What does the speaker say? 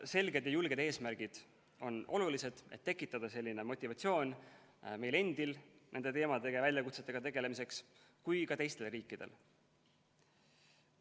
Selged ja julged eesmärgid on olulised, et tekitada selline motivatsioon nii meile endile nende teemade ja väljakutsetega tegelemiseks kui ka teistele riikidele.